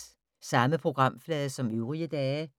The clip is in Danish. Samme programflade som øvrige dage